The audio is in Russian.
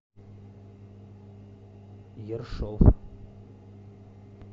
ершов